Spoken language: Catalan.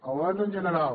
el balanç en general